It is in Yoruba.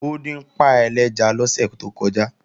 Ó dín páì ẹlẹ́ja lọ́sẹ̀ tó kọjá